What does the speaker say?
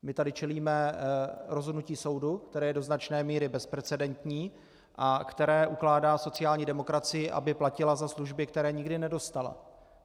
My tady čelíme rozhodnutí soudu, které je do značné míry bezprecedentní a které ukládá sociální demokracii, aby platila za služby, které nikdy nedostala.